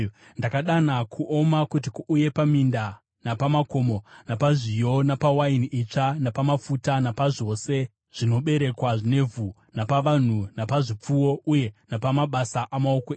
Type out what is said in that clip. Ndakadana kuoma kuti kuuye paminda napamakomo, napazviyo, napawaini itsva, napamafuta, napazvose zvinoberekwa nevhu, napavanhu, napazvipfuwo, uye napamabasa amaoko enyu.”